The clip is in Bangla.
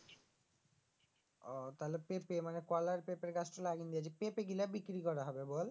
পেঁপে ও তালে পেঁপে মানে কলার পেঁপের গাছ টো লাগিয়ে লিয়েছিস পেঁপে গুলা বিক্রি করা হবে বল?